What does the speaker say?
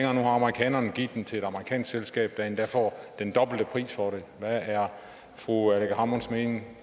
har amerikanerne givet den til et amerikansk selskab der endda får den dobbelte pris for den hvad er fru aleqa hammonds mening